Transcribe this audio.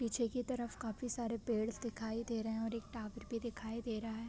पीछे के तरफ काफ़ी सारे पेड़ दिखाई दे रहे हैं और एक टावर भी दिखाई दे रहा है।